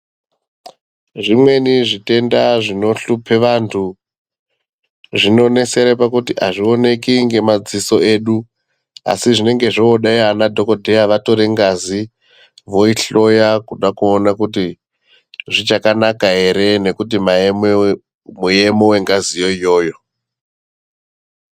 Zvimweni zvitenda zvinohluphe vantu, zvinonesere pakuti hazviwoneki ngemadziso edu. Asi zvinenge zvode ana dhokodheya vatore ngazi, voyihloya kuda kuwona kuti zvichakanaka here nekuti mayemo engazi iyoyo.